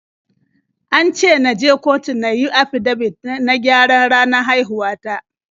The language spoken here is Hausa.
An ce na je kotu na yi afidabit na gyaran ranar haihuwa ta.